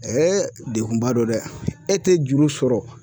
degunba don dɛ e tɛ juru sɔrɔ.